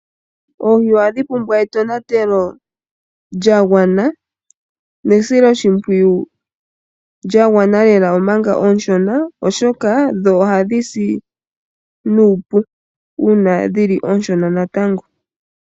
Oohi ohadhi pumbwa etonatelo lya gwana, osho wo esilo shimpwiyu lya gwana lela oshoka oonshona, ohadhi si nuupu ngele oonshona natango.